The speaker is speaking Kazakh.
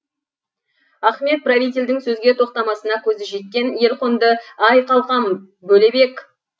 ахмет правительдің сөзге тоқтамасына көзі жеткен елқонды ай қалқам бөлебек